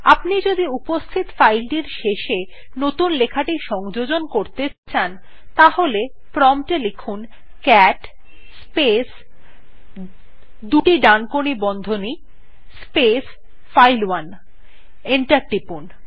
আপনি যদি উপস্থিত ফাইল টির শেষে নতুন লেখাটি সংযোজন করতে চান তাহলে প্রম্পট এ ক্যাট স্পেস দুটি ডানকোনি বন্ধনী স্পেস ফাইল1 লিখে এন্টার টিপুন